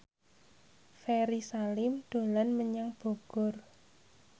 Ferry Salim dolan menyang Bogor